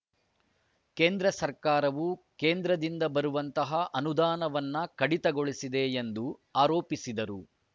ಕೇಂದ್ರ ಸರ್ಕಾರವು ಕೇಂದ್ರದಿಂದ ಬರುವಂತಹ ಅನುದಾನವನ್ನು ಕಡಿತಗೊಳಿಸಿದೆ ಎಂದು ಆರೋಪಿಸಿದರು